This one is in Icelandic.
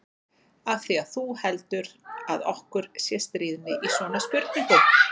Af því að þú heldur að okkur sé stríðni í svona spurningum.